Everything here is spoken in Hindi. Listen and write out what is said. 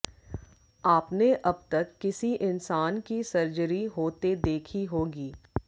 आपने अब तक किसी इंसान की सर्जरी होते देखी होगी